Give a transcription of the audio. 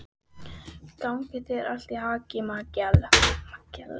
Gangi þér allt í haginn, Mikjáll.